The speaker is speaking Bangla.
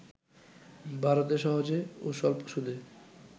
ভারতে সহজে ও স্বল্প সুদে